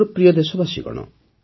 ମୋର ପ୍ରିୟ ଦେଶବାସୀଗଣ